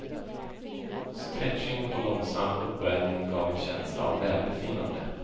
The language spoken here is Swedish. Stretching och långsam uppvärmning gav en känsla av välbefinnande.